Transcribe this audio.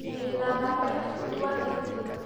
wĩna namba ya bundi wa thitima?